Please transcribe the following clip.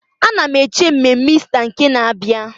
Ana m eche mmemme Ista nke na-abịa.